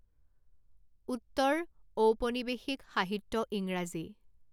উত্তৰ ঔপনিৱেশিক সাহিত্য ইংৰাজী